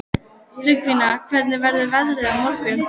Tryggvína, hvernig verður veðrið á morgun?